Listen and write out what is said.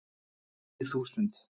Tíu þúsund